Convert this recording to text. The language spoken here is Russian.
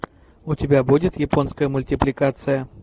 у тебя будет японская мультипликация